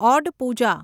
odd Pooja